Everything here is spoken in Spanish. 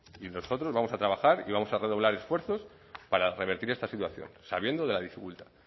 y nosotros vamos a trabajar y vamos a redoblar esfuerzos para revertir esta situación sabiendo de la dificultad